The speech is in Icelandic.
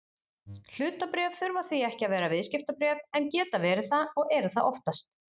Hlutabréf þurfa því ekki að vera viðskiptabréf en geta verið það og eru það oftast.